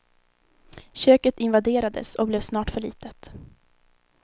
Köket invaderades och blev snart för litet.